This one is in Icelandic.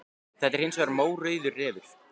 Þetta er hins vegar mórauður refur.